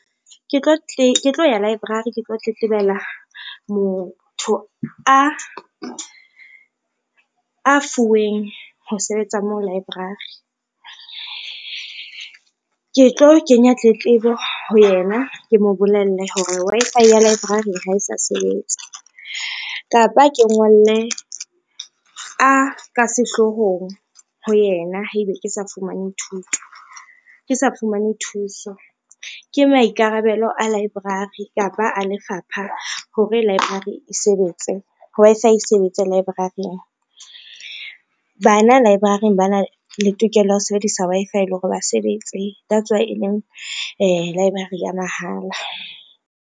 Ke tlo ya library ke tlo tletlebela motho a fuweng ho sebetsa moo library. Ke tlo kenya tletlebo ho yena, ke mo bolelle hore Wi-Fi ya library ha e sa sebetsa, kapa ke ngolle a ka sehloohong ho yena haebe ke sa fumane thuso. Ke maikarabelo a library kapa a lefapha hore library e sebetse, Wi-Fi e sebetse library-ng. Bana library ba na le tokelo ya ho sebedisa Wi-Fi, le hore ba sebetse that's why e leng library ya mahala.